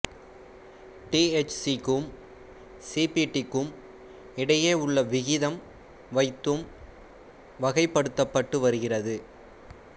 டிஎச்சிக்கும் சிபிடிக்கும் இடையே உள்ள விகிதம் வைத்தும் வகைப்படுத்தப்பட்டு வருகிறது